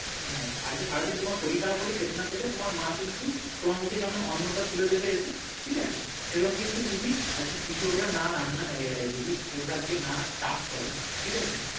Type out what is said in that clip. হ্যাঁ আজকে সারাদিন তোমার শরীর খারাপ হলে খেতে না পেলে তোমার মা কিন্তু তোমার মুখে যেমন অন্ন টা তুলে দেবে এসে ঠিক আছে সেরকম কিন্তু যদি কৃষকরা আজকে না চাষ করে ঠিক আছে